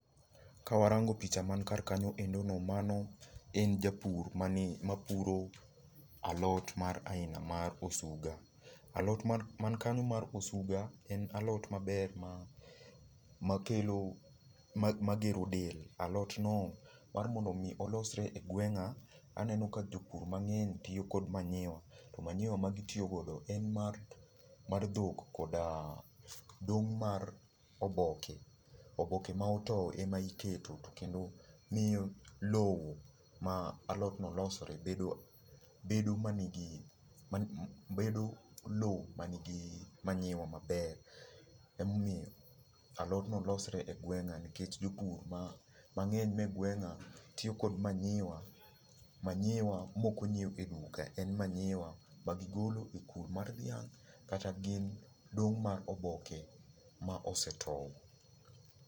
Ka warango picha man kar kanyoendo no, mano en japur mani, mapuro alot mar aina mar osuga. Alot man kanyo mar osuga, en alot maber ma makelo, magero del. Alot no mar mondo mi olosre e gweng'a, aneno ka jopur mang'eny tiyo kod manyiwa. To manyiwa ma gitiyo godo en mar dhok kod dong' mar oboke. Oboke ma otow e ma iketo to kendo miyo lowo ma alot no losore bedo lowo manigi manyiwa maber. Emomiyo alod no losre e gweng'a nikech jopur mang'eny manie gweng'a tiyo kod manyiwa, manyiwa mok onyiew e duka. En manyiwa ma gigolo e kul mar dhiang' kata gin dong' mar oboke ma osetow.